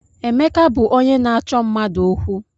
Emeka bụ onye na-achọ mmadụ okwu.